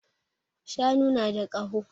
Shanu na da ƙaho